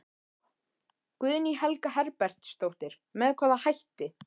Guðný Helga Herbertsdóttir: Með hvaða hætti?